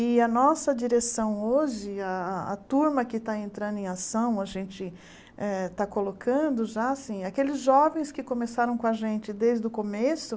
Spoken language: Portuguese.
E a nossa direção hoje, a a a turma que está entrando em ação, a gente está colocando já, aqueles jovens que começaram com a gente desde o começo,